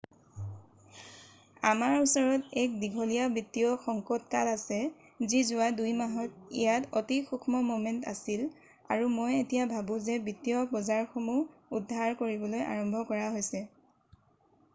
আমাৰ ওচৰত এক দীঘলীয়া বিত্তীয় সংকটকাল আছে যি যোৱা ২-মাহত ইয়াত অতি সূক্ষ্ম ম'মেন্ট আছিল আৰু মই এতিয়া ভাবো যে বিত্তীয় বজাৰসমূহ উদ্ধাৰ কৰিবলৈ আৰম্ভ কৰা হৈছে৷